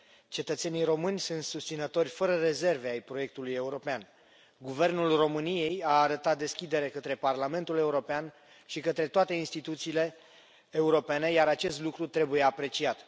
Cetățenii români sunt susținători fără rezerve ai proiectului european, guvernul României a arătat deschidere către Parlamentul European și către toate instituțiile europene iar acest lucru trebuie apreciat.